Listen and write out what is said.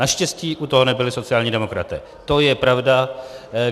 Naštěstí u toho nebyli sociální demokraté, to je pravda.